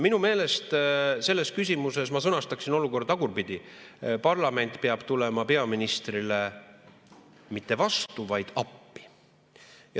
Minu meelest selles küsimuses ma sõnastaksin olukorda tagurpidi: parlament peab tulema peaministrile mitte vastu, vaid appi.